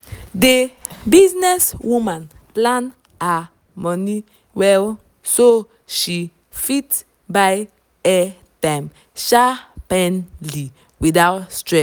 the business woman plan her money well so she fit buy air time sharpi ly without stress